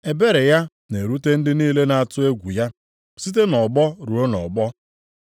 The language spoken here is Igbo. Ebere ya na-erute ndị niile na-atụ egwu ya site nʼọgbọ ruo nʼọgbọ.